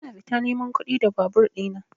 Ina fita neman kuɗi da babur ɗina.